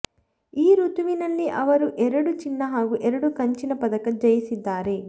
ಈ ಋತುವಿನಲ್ಲಿ ಅವರು ಎರಡು ಚಿನ್ನ ಹಾಗೂ ಎರಡು ಕಂಚಿನ ಪದಕ ಜಯಿಸಿದ್ದಾರೆ